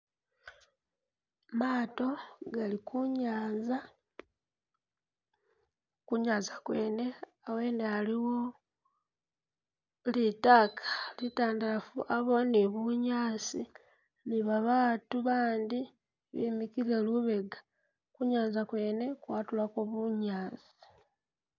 Maato gali kunyaaza, kunyaaza kwene awene aliwo litaaka litandafu yabawo ni bunyaasi ni babaatu bandi bimikile lubega kunyaaza kwene kwatulako bunyaasi.